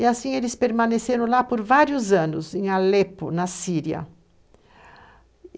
E assim eles permaneceram lá por vários anos, em Alepo, na Síria.